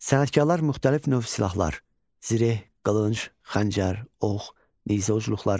Sənətkarlar müxtəlif növ silahlar: zireh, qılınc, xəncər, ox, nizə ucluqları.